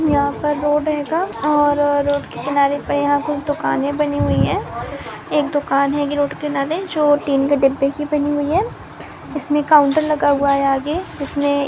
यहाँ पर रोड रहेगा और रोड के किनारे पर यहाँ कुछ दुकाने बनी हुई है एक दुकान है यही रोड किनारे जो टीन के डिब्बे की बनी हुई है इसमे काउंटर लगा हुआ है आगे जिसमे --